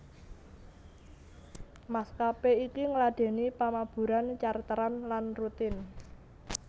Maskapé iki ngladèni pamaburan charteran lan rutin